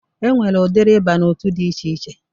E nwere udiri ịba n'otu dị iche iche